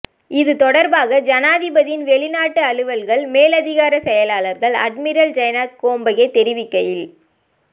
இது தொடர்பாக ஜனாதிபதியின் வெளிநாட்டு அலுவல்கள் மேலதிக செயலாளர் அட்மிரல் ஜயனாத் கொம்பகே தெரிவிக்கையில்